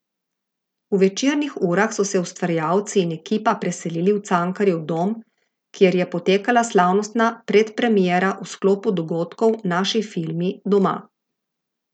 V večernih urah so se ustvarjalci in ekipa preselili v Cankarjev dom, kjer je potekala slavnostna predpremiera v sklopu dogodkov Naši filmi doma.